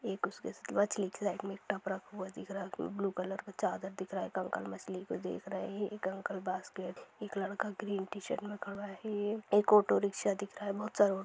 एक उसके मछली के साइड में एक टब रखा हुआ दिख रहा है ब्लू कलर का चादर दिख रहा है कंकड़ मछली को देख रहे हैं| एक अंकल बास्केट के पास खड़े हैं| एक लड़का ग्रीन टि-शर्ट में खड़ा हुआ है| एक ऑटो रिक्शा दिख रहा है| बहोत सारे ऑ --